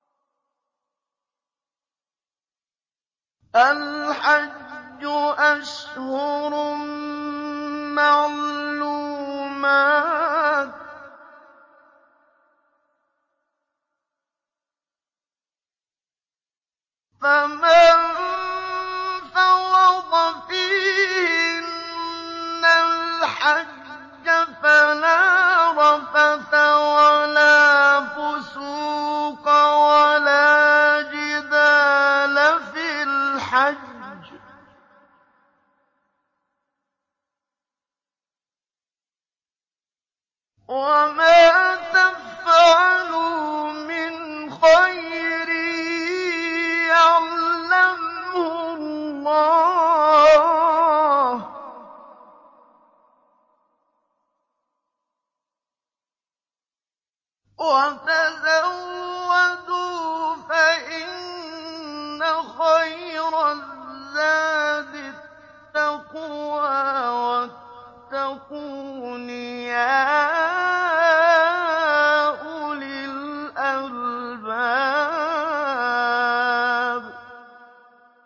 الْحَجُّ أَشْهُرٌ مَّعْلُومَاتٌ ۚ فَمَن فَرَضَ فِيهِنَّ الْحَجَّ فَلَا رَفَثَ وَلَا فُسُوقَ وَلَا جِدَالَ فِي الْحَجِّ ۗ وَمَا تَفْعَلُوا مِنْ خَيْرٍ يَعْلَمْهُ اللَّهُ ۗ وَتَزَوَّدُوا فَإِنَّ خَيْرَ الزَّادِ التَّقْوَىٰ ۚ وَاتَّقُونِ يَا أُولِي الْأَلْبَابِ